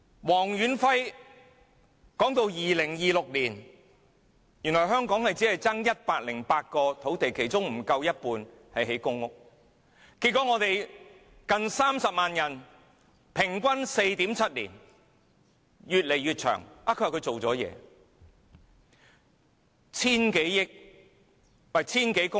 黃遠輝說，香港到了2026年只欠缺108公頃土地，其中不足一半用來興建公屋，結果近30萬人需要輪候平均 4.7 年，時間越來越長，但特首說她有做工作。